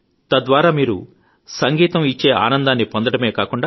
తద్వారా మీరు సంగీతమిచ్చే ఆనందాన్ని పొందడమే కాక